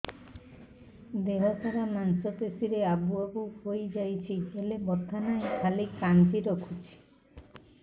ଦେହ ସାରା ମାଂସ ପେଷି ରେ ଆବୁ ଆବୁ ହୋଇଯାଇଛି ହେଲେ ବଥା ନାହିଁ ଖାଲି କାଞ୍ଚି ରଖୁଛି